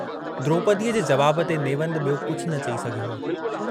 द्रोपदीअ जे जवाब ते नेवंदु यो कुझ न चई सघियो हो।